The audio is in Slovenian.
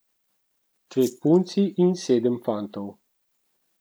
Dve punci in sedem fantov.